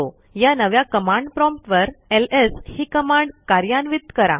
या नव्या command prompt वर एलएस ही कमांड कार्यान्वित करा